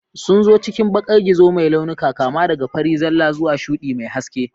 Sun zo cikin bakan gizo mai launuka, kama daga fari zalla zuwa shuɗi mai haske.